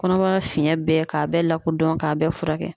Kɔnɔbara fiyɛn bɛɛ k'a bɛɛ lakodɔn k'a bɛɛ furakɛ.